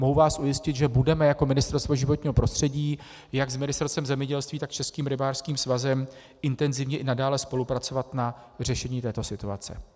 Mohu vás ujistit, že budeme jako Ministerstvo životního prostředí jak s Ministerstvem zemědělství, tak s Českým rybářským svazem intenzivně i nadále spolupracovat na řešení této situace.